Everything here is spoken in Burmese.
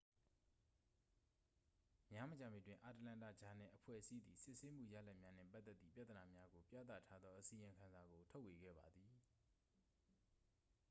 များမကြာမီတွင် အတ္တလန္တာ ဂျာနယ်-အဖွဲ့အစည်းသည် စစ်ဆေးမှုရလဒ်များနှင့်ပတ်သက်သည့်ပြဿနာများကို ပြသထားသောအစီရင်ခံစာကို ထုတ်ဝေခဲ့ပါသည်